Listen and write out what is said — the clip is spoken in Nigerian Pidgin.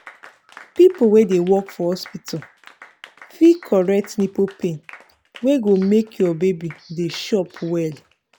people wey dey work for hospital fit correct nipple pain wey go make your baby dey chop well.